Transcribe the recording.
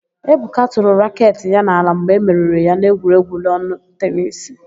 Ebuka tụrụ raketị ya n'ala mgbe e meriri ya n'egwuregwu lọnụ tenisi.